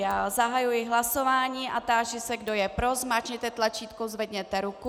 Já zahajuji hlasování a táži se, kdo je pro, zmáčkněte tlačítko, zvedněte ruku.